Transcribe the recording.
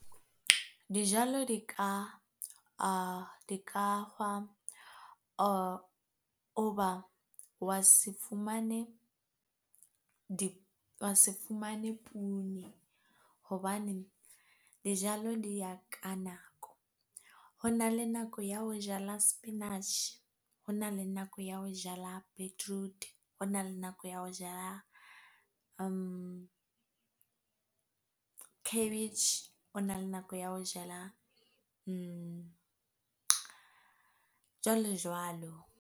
Dijalo di ka se fumane hobane dijalo di ya ka nako. Ho na le nako ya ho jala spinach, hona le nako ya ho jala beetroot, hona le nako ya ho jala cabbage, ho na le nako ya ho jala jwalo jwalo.